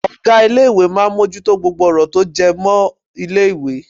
Ọ̀gá ilé ìwé máà ń mú ojú tó gbogbo ọ̀rọ̀ tó jẹ́ mọ́ ilé ìwé.